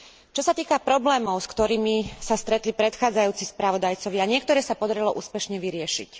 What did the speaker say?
Čo sa týka problémov, s ktorými sa stretli predchádzajúci spravodajcovia, niektoré sa podarilo úspešne vyriešiť.